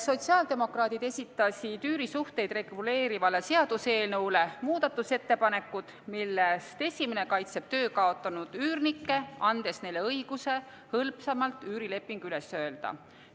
Sotsiaaldemokraadid esitasid üürisuhteid reguleeriva seaduseelnõu kohta muudatusettepanekud, millest esimene kaitseb töö kaotanud üürnikke, andes neile õiguse hõlpsamalt üürileping üles öelda.